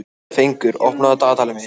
Fengur, opnaðu dagatalið mitt.